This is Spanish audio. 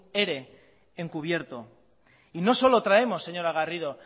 ere encubierto y no solo traemos señora garrido